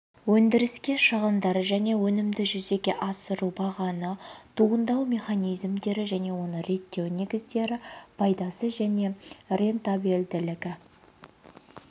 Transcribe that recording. өндіріске шығындар және өнімді жүзеге асыру бағаны туындау механизмдері және оны реттеу негіздері пайдасы және рентабелділігі